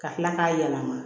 Ka tila k'a yɛlɛma